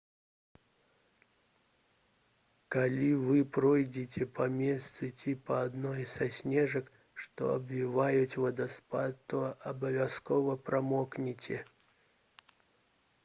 калі вы пройдзеце па мосце ці па адной са сцежак што абвіваюць вадаспад то абавязкова прамокнеце